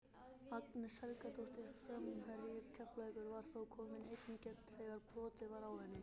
Agnes Helgadóttir framherji Keflavíkur var þá komin ein í gegn þegar brotið var á henni.